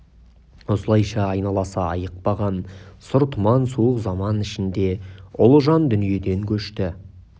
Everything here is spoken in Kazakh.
осылайша айналасы айықпаған сұр тұман суық заман ішінде ұлы жан дүниеден көшті